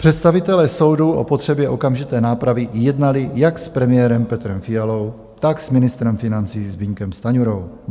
Představitelé soudů o potřebě okamžité nápravy jednali jak s premiérem Petrem Fialou, tak s ministrem financí Zbyňkem Stanjurou.